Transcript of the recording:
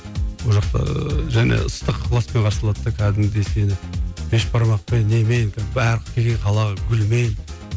ол жақта және ыстық ықыласпен қарсы алады да кәдімгідей сені бешбармақпен немен гүлмен